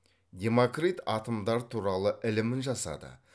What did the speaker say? демокрит атомдар туралы ілімін жасады